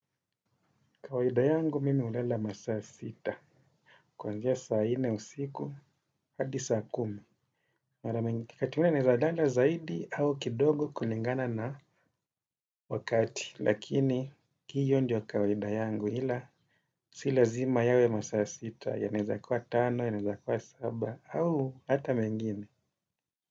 Kawaida yangu mimi ulala masaa sita kwanzia saa nne usiku hadi saa kumi. Kati naeza lala zaidi au kidogo kulingana na wakati. Lakini hiyo kawaida yangu ila si lazima yawe masaa sita yaeza kuwa kuwa tano yaeza kuwa saba au hata mengine.